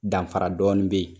Danfara dɔɔnin bɛ yen